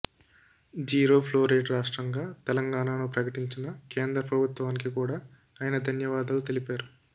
zero fluoride రాష్ట్రంగా తెలంగాణను ప్రకటించిన కేంద్ర ప్రభుత్వానికి కూడా ఆయన ధన్యవాదాలు తెలిపారు